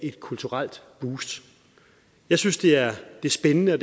et kulturelt boost jeg synes det er spændende og